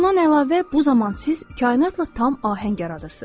Bundan əlavə, bu zaman siz kainatla tam ahəng yaradırsız.